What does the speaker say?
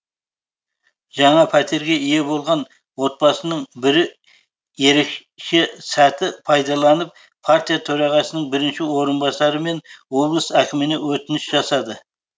жаңа пәтерге ие болған отбасының бірі ерекше сәтті пайдаланып партия төрағасының бірінші орынбасары мен облыс әкіміне өтініш жасады